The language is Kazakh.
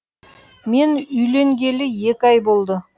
мен үйленгелі екі ай болды